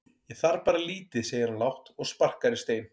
Ég þarf bara lítið segir hann lágt og sparkar í stein.